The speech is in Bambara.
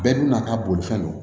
Bɛɛ n'a ka bolifɛn don